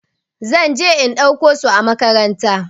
Zan je in ɗauko su a makaranta.